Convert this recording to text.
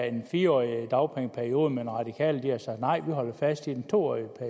en fire årig dagpengeperiode men radikale har sagt nej vi holder fast i den to årige